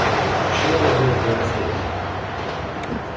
а почему я о ней узнаю последний